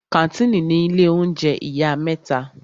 Kàńtìnì ni ilé oúnjẹ ìyá mẹ́ta.